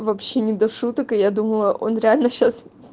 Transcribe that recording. вообще не до шуток и я думала он реально сейчас